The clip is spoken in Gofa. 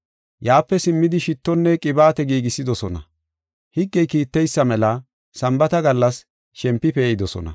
Yaape simmidi shittonne qibaate giigisidosona. Higgey kiitteysa mela Sambaata gallas shempi pee7idosona.